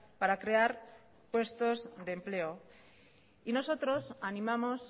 para crear puestos de empleo y nosotros animamos